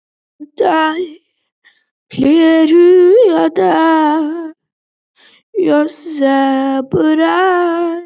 Frekara lesefni á Vísindavefnum: Hvaða skáld samdi heilræðavísur og hvað má segja um slíkan kveðskap?